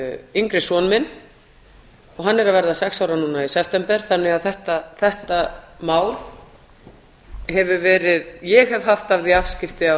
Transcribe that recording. yngri son minn og hann er að verða sex ára núna í september þannig að ég hef haft afskipti af þessu máli hér á